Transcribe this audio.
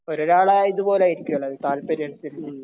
ഒരാളെ ഇതുപോലെ ആയിരിക്കും അല്ലെ താല്പര്യം അനുസരിച്ച്